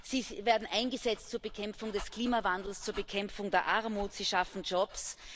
Sie werden eingesetzt zur Bekämpfung des Klimawandels, zur Bekämpfung der Armut, und sie schaffen Jobs.